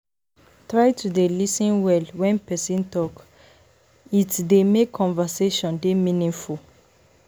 Try to dey lis ten well when person talk, it dey make conversation dey meaningful.